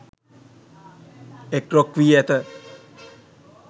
එක් රොක් වී ඇත.